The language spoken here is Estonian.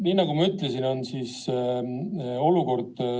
Määran muudatusettepanekute esitamise tähtajaks k.a 31. märtsi kell 17.